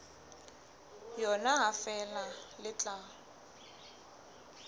yona ha feela le tla